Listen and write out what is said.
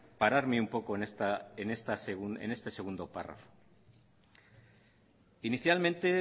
pararme un poco en este segundo párrafo inicialmente